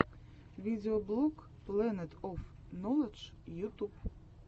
видеоблог плэнет оф ноладж ютуб